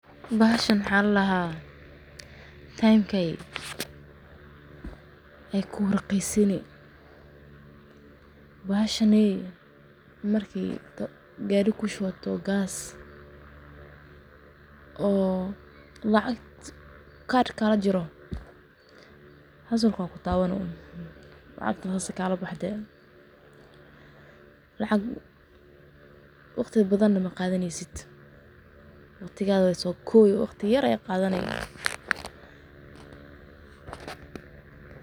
Bahshan waxa ladaha temka ayey kuraqisin, bahashan waxa marki gariga kushuwato gas oo karka lajaro xusuka kutawani sidas kagabaxde lacagta oo waqti maqadaneyso waqti yar ayey qadani.